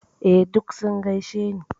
Eh, duk sun gaishe ni.